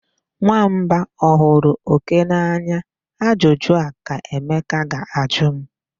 Nwamba ọ hụrụ oke n'anya? Ajụjụ a ka Emeka ga-ajụ m.